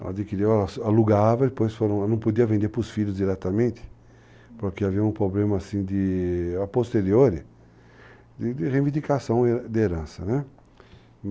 Ela adquiriu, ela alugava, depois não podia vender para os filhos diretamente, porque havia um problema, assim, a posteriori, de reivindicação de herança., né?